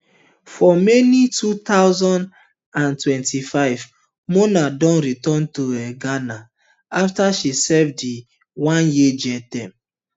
for may two thousand and twenty-five mona don return to um ghana afta she serve di oneyear jail term